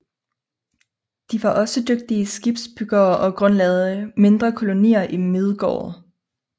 De var også dygtige skibsbyggere og grundlagde mindre kolonier i Midgård